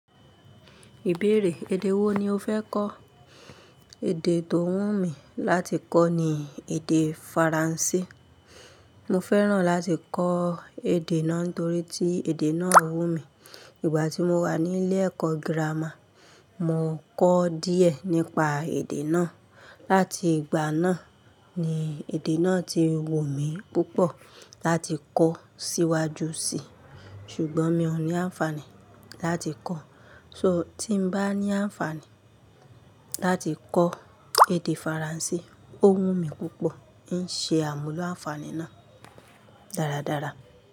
Ìbéèrè, èdè wo ni o fẹ́ kọ́? Èdè tó wù mí láti kọ́ ni èdè Faransé. Mo fẹ́ràn láti kọ èdè náà nítorí tí èdè náà wù mí. Ìgbà tí mo wà nílé ẹ̀kọ́ gírámà, mo kọ́ díẹ̀ nípa èdè náà. Láti ìgbà náà ni èdè náà ti wù mí púpọ̀ láti kọ́ síwájú sí. Ṣùgbọ́n mi ò ní àǹfààní láti kọ́. So tí bá ní àǹfààní láti kọ èdè Faransé, ó wù mí púpọ̀, n ṣe àmúlò àǹfààní náà dáradára.